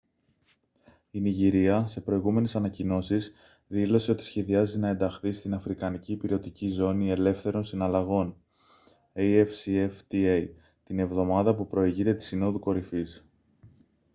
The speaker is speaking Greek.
η νιγηρία σε προηγούμενες ανακοινώσεις δήλωσε ότι σχεδιάζει να ενταχθεί στην αφρικανική ηπειρωτική ζώνη ελεύθερων συναλλαγών afcfta την εβδομάδα που προηγείται της συνόδου κορυφής